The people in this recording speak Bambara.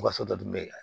U ka so dɔ dun bɛ ka